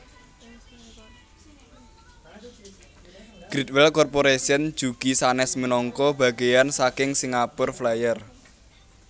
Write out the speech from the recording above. Great Wheel Corporation jugi sanes minangka bageyan saking Singapore Flyer